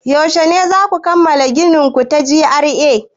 Yaushe zaku kammala ginin ku ta G.R.A?